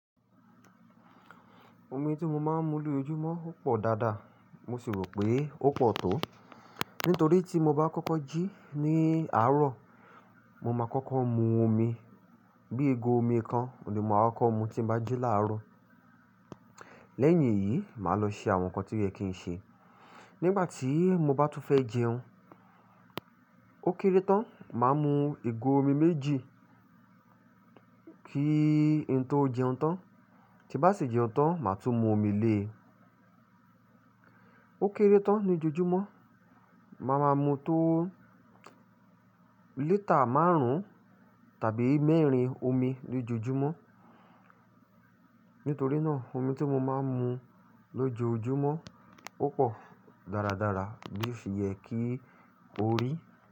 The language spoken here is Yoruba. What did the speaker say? Omi tí mo máa ń mu lójoojúmọ́ o pọ̀ dáadáa, mo sì rò pé ó pọ̀ tó. Nítorí tí mo bá kọ́kọ́ jí ní àárọ̀, mo máa kọ́kọ́ mu omi. Bíi ìgò omi kan ouni mo máa kokọ mu tí n bá jí láárọ̀. Lẹ́yìn èyí, màá lọ ṣe àwọn nǹkan tí o yẹ kí n ṣe. Nígbà tí mo bá tún fẹ́ jẹun, ó kéré tán, màá mu ìgò omi méjì kí n tó jẹun tán. Tí n bá sì jẹun tán, màá tún mu omi lé. Ó kéré tán ní ojoojúmọ́. Màá máa mu tó lítà márùn-ún tàbí mẹ́rin omi lójoojúmọ́. Nítorí náà omi tí mo máa ń mu lójoojúmọ́ o pọ̀ dáradára bí o fi yẹ kí ó rí.